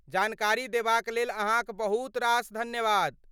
जानकारी देबाक लेल अहाँक बहुत रास धन्यवाद।